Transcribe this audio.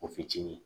O fitini